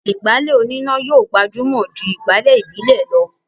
ìgbálẹ̀ oníná yóò gbajúmọ̀ jù ìgbálẹ̀ ìbílè lọ